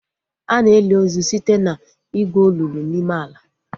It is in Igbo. Ana eli ozu site na igwu olulu n'ime ala